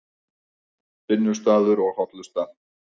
Vinnustaður og hollusta